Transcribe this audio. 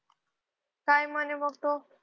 काय म्हणे मग तो